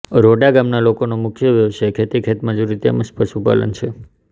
રોડા ગામના લોકોનો મુખ્ય વ્યવસાય ખેતી ખેતમજૂરી તેમ જ પશુપાલન છે